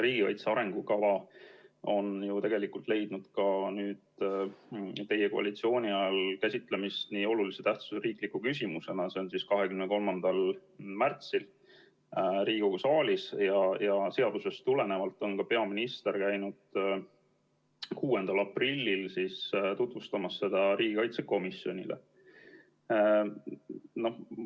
Riigikaitse arengukava on ju tegelikult leidnud ka teie koalitsiooni ajal käsitlemist olulise tähtsusega riikliku küsimusena, see oli 23. märtsil Riigikogu saalis, ja seadusest tulenevalt käis ka peaminister 6. aprillil seda riigikaitsekomisjonile tutvustamas.